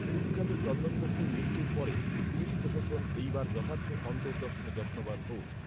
কুখ্যাত চন্দনদস্যুর মৃত্যুর পরে পুলিশপ্রশাসন এই বার যথার্থ অন্তর্দর্শনে যত্নবান হউক‌